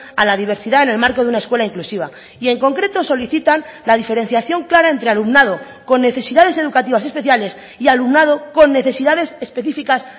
a la diversidad en el marco de una escuela inclusiva y en concreto solicitan la diferenciación clara entre alumnado con necesidades educativas especiales y alumnado con necesidades específicas